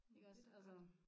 Men det da godt